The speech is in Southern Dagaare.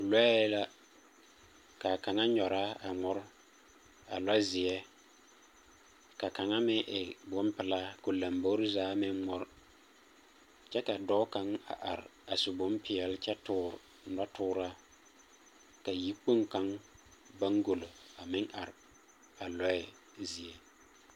Lͻԑ la, ka a kaŋ nyͻraa a ŋmore, a lͻzeԑ. Ka kaŋa meŋ e bompelaa ka o lombori zaa meŋ ŋmore. Kyԑ ka a dͻͻ kaŋa a are a su bompeԑle kyԑ toore nͻtooraa, ka yikpoŋ kaŋa boŋgolo a meŋ are a lͻԑ zie.